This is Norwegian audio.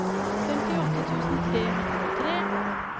femtiåtte tusen tre hundre og tre